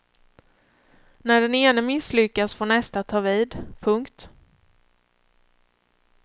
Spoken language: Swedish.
När den ene misslyckas får nästa ta vid. punkt